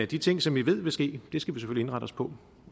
de ting som vi ved vil ske skal vi selvfølgelig indrette os på